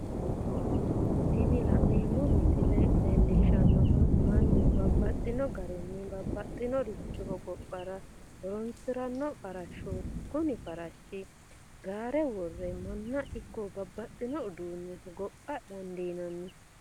Tini la'neemo misile leellishanohu mannu babaxxino garinni babaxinoricho hogophatr horonsirano farashooti, kuni farashi gaare wore mana ikko babaxino uduune hogopha dandinanni